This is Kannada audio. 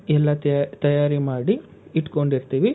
ಎಲ್ಲಾ ತಯಾರಿ ಮಾಡಿ ಇಟ್ಕೊಂಡಿರ್ತೀವಿ.